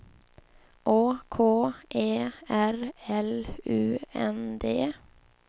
Å K E R L U N D